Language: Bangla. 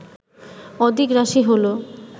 অদিক রাশি হল